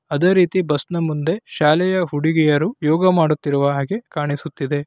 ಅದೇ ರೀತಿ ಬಸ್ಸನ ಮುಂದೆ ಶಾಲೆಯ ಹುಡುಗಿಯರು ಯೋಗ ಮಾಡುತ್ತಿರುವ ಹಾಗೆ ಕಾಣಸುತ್ತಿದೆ.